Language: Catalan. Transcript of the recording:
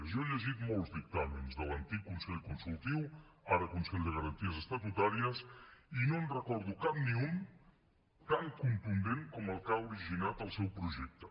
jo he llegit molts dictàmens de l’antic consell consultiu ara consell de garanties estatutàries i no en recordo cap ni un tan contundent com el que ha originat el seu projecte